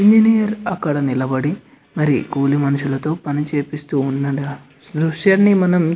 engineer అక్కడ నిలబడి మరి కూలి మనిషులతో పని చూపిస్తూ ఉండడం ఆ దృశ్యాన్ని మనం --